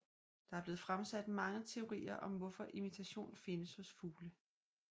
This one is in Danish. Der er blevet fremsat mange teorier om hvorfor imitation findes hos fuglene